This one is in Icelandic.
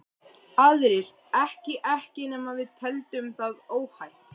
Aðrir ekki ekki nema við teldum það óhætt.